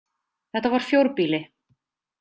Þetta var fjórbýli.